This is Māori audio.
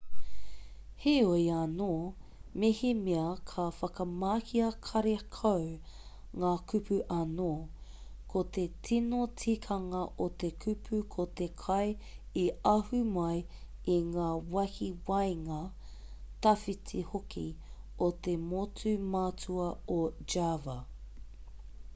heoi anō mehemea ka whakamahia karekau ngā kupu anō ko te tino tikanga o te kupu ko te kai i ahu mai i ngā wāhi waenga tawhiti hoki o te motu matua o java